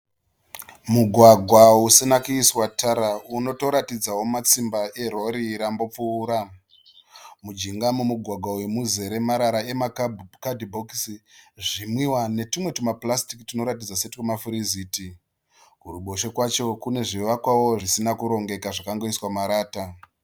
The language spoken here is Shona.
Mugwagwa usina kuiswa tara unotoratidzawo matsimba erori rambopfuura. Mujiga memugwagwa muzere mara emakatibokisi, zvinwiwa netumwe tumapurasitiki tunotatidza setwemafiriziti. Kuruboshwe kwacho kune zvivakwawo zvisina kurongeka zvakangoiswa marata.